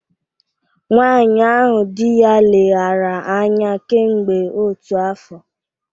Nwanyị ahụ di ya leghaara anya kemgbe otu afọ